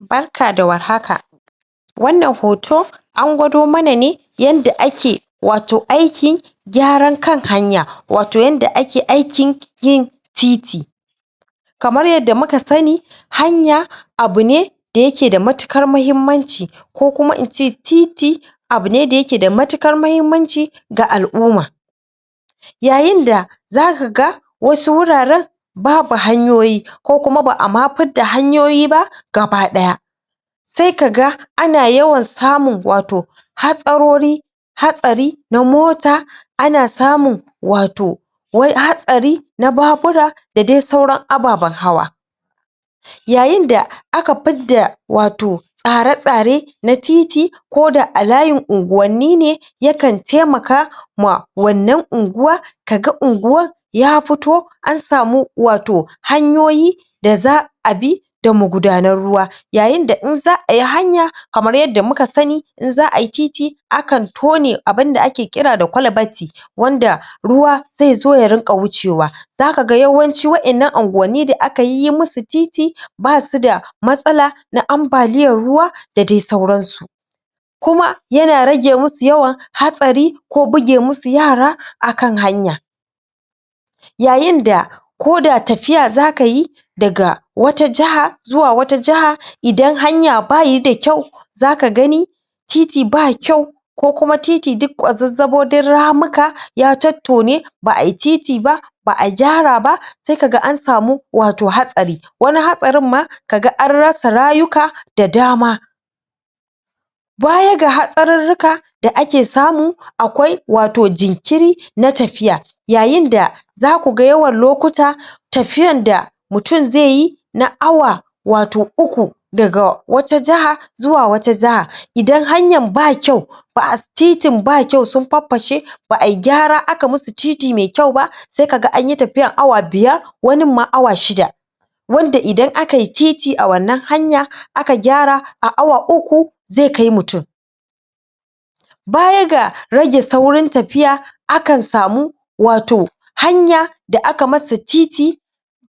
Barka da warhaka wannan hoto an gwado mana ne yanda ake wato aiki gyaran kan hanya wato yanda ake aikin yin titi kamar yadda muka sani hanya abu ne da yake da matuƙar mahimmanci ko kuma ince titi abu ne da yake da matuƙar mahimmanci ga al'umma yayin da zaka ga wasu wuraren babu hanyoyi ko kuma ba'a ma fidda hanyoyi ba gabaɗaya se kaga ana yawan samun wato hatsarori hatsari na mota ana samun wato wai hatsari na babura da dai sauran ababen hawa yayin da aka fidda wato tsare-tsare na titi ko da a layin unguwanni ne yakan taimaka ma wannan unguwa kaga unguwan ya fito an samu wato hanyoyi da za'a bi da magudanar ruwa yayin da in za'ayi hanya kamar yadda muka sani in za'a titi akan tone abinda ake kira da kwalbati wanda ruwa zai zo ya rinƙa wuce wa zaka ga yawanci waƴannan anguwanni da aka yi yi musu titi basu da matsala na ambaliyar ruwa da dai sauran su kuma yana rage musu yawa hatsari ko buge musu yara akan hanya yayin da ko da tafiya zaka yi daga wata jaha zuwa wata jaha idan hanya bayi da kyau zaka gani titi ba kyau ko kuma titi duk ƙwazarzabo, duk ramuka ya tottone ba'ayi titi ba ba'a gyara ba sai kaga an samu wato hatsari wani hatsarin ma kaga an rasa rayuka da dama baya ga hatsarurruka da ake samu akwai wato jikiri na tafiya yayin da zaku ga yawan lokuta tafiyan da mutun zai yi na awa wato uku daga wata jaha zuwa wata jaha, idan hanyan ba kyau ba titin ba kyau sun farfashe ba'ai gyara aka musu titi me kyau ba sai kaga anyi tafiya awa biyar wanin ma awa shida wanda idan akai titi a wannan hanya aka gyara a awa uku ze kai mutun baya ga rage saurin tafiya akan samu wato hanya da aka masa titi